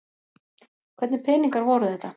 Hvernig peningar voru þetta?